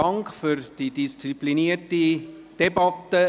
Dank für die disziplinierte Debatte.